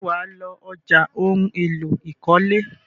Ṣé wà á lọ ọjà ohun-èlò ìkọ́lé?